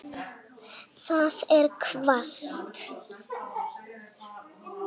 Það er hvasst.